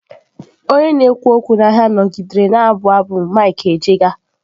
Onye na-ekwu okwu n'ahịa nọgidere na-abụ abụ mike ejegha.